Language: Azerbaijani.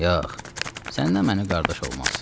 Yox, sən nə mənimlə qardaş olmaz.